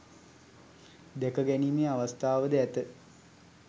දැකගැනීමේ අවස්ථාවද ඇත.